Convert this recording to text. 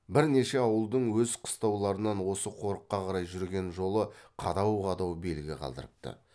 бірнеше ауылдың өз қыстауларынан осы қорыққа қарай жүрген жолы қадау қадау белгі қалдырыпты